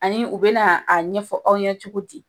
Ani u bɛ na a ɲɛfɔ aw ɲɛ cogo di.